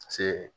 Paseke